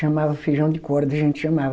chamava feijão de corda, a gente chamava.